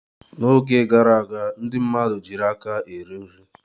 N'oge gara aga ndị mmadụ jiiri aka eri nri.